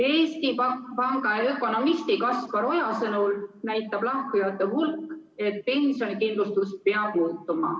Eesti Panga ökonomisti Kaspar Oja sõnul näitab lahkujate hulk, et pensionikindlustus peab muutuma.